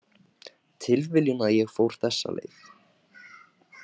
Tilviljun að ég fór þessa leið